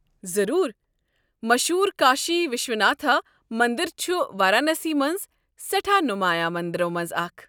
ضروٗر۔ مشہوٗر کاشی وِشواناتھ مندر چھُ وارانسی منٛز سیٹھاہ نمایاں مندرو منٛزٕ اکھ۔